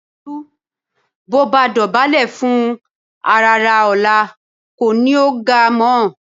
Tolú bó o bá dọ̀bálẹ̀ fún àràrá ọ̀la kò ní o ò ga mọ́